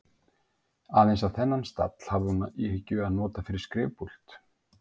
Aðeins að þennan stall hafði hún í hyggju að nota fyrir skrifpúlt.